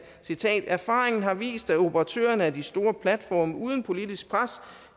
citat at erfaringen har vist at operatørerne af de store platforme uden politisk pres